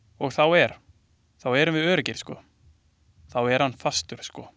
Og þá er, þá erum við öruggir sko, þá er hann fastur sko.